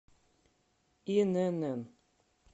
инн